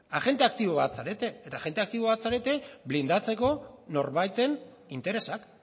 agente aktibo bat zarete eta agente aktibo bat zarete blindatzeko norbaiten interesak